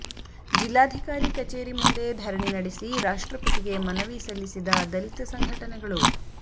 ಜಿಲ್ಲಾಧಿಕಾರಿ ಕಚೇರಿ ಮುಂದೆ ಧರಣಿ ನಡೆಸಿ ರಾಷ್ಟ್ರಪತಿಗೆ ಮನವಿ ಸಲ್ಲಿಸಿದ ದಲಿತ ಸಂಘಟನೆಗಳು